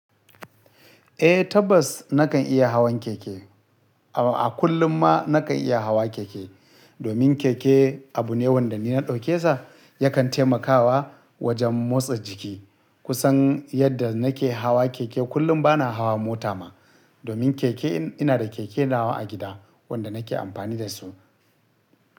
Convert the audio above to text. Eh tabbas nakan iya hawan keke. A kullum ma nakan iya hawa keke, domin keke abu ne wanda ni na ɗauke sa yakan taimakawa wajen motsa jiki. Kusan yadda nake hawa keke kullum bana hawa mota ma, domin keke ina da keke nawa a gida wanda nake amfani da su.